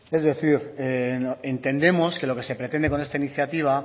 es decir entendemos que lo que se pretende con esta iniciativa